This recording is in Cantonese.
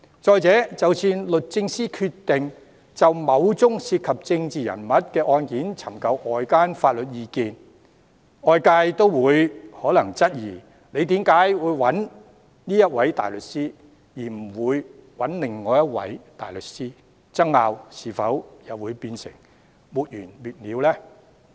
再者，即使律政司決定就某宗涉及政治人物的案件尋求外間法律意見，外界也可能質疑為何要找這一位大律師而不是其他大律師，爭拗會否變得沒完沒了呢？